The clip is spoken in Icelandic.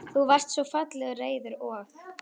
Þú varst svo fallega reiður og.